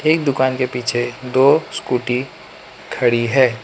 एक दुकान के पीछे दो स्कूटी खड़ी है।